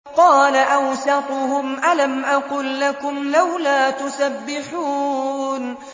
قَالَ أَوْسَطُهُمْ أَلَمْ أَقُل لَّكُمْ لَوْلَا تُسَبِّحُونَ